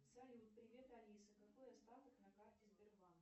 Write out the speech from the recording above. салют привет алиса какой остаток на карте сбербанк